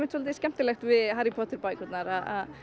svo skemmtilegt við Harry Potter bækurnar að